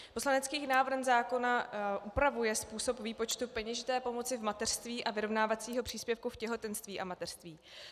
Poslanecký návrh zákona upravuje způsob výpočtu peněžité pomoci v mateřství a vyrovnávacího příspěvku v těhotenství a mateřství.